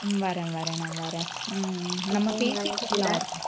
ஹம் வரேன் வரேன் நான் வரேன் உம் நம்ம பேசிட்டு இருக்கலாம்